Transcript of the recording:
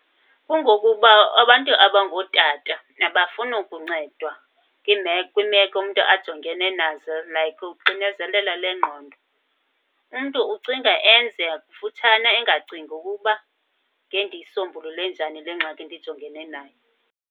Kungokuba abantu abangootata abafuni kuncedwa kwimeko umntu ajongene nazo like uxinezelelo lwengqondo. Umntu ucinga enze kufutshane engacingi ukuba ngendiyisombulule njani le ngxaki ndijongene nayo.